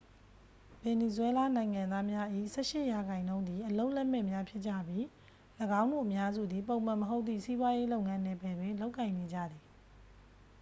ဗင်နီဇွဲလားနိုင်ငံသားများ၏ ဆယ့်ရှစ်ရာခိုင်နှုန်းသည် အလုပ်လက်မဲ့များဖြစ်ကြပြီး ၎င်းတို့အများစုသည် ပုံမှန်မဟုတ်သည့် စီးပွားရေးလုပ်ငန်းနယ်ပယ်တွင် လုပ်ကိုင်နေကြသည်